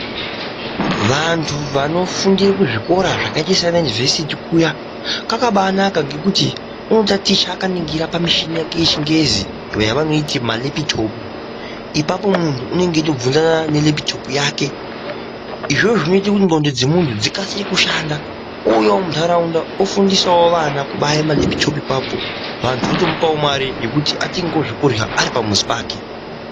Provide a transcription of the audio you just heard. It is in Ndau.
Vantu vanofundire kuzvikora zvakaite sanayunivhesiti kuya, kwakabanaka ngekuti unotaticha akaningira pamuchini wake weChiNgezi wavanoti malepitopu, Apapo muntu unenge echitobvunzana nelepitopu yake, Izvozvo zvinoite kuti ndxondo dzemuntu dzikasire kushanda, ouyawo muntaraunda ofundisawo vana kubayawo malepitopu apapo, vantu vomupawo mare yekuti atengewo zvekurya ari pamuzi pake.